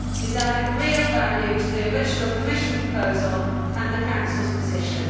He has added real value to the original Commission proposal and the Council's position.